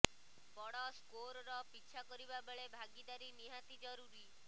ବଡ଼ ସ୍କୋରର ପିଛା କରିବା ବେଳେ ଭାଗୀଦାରି ନିହାତି ଜରୁରୀ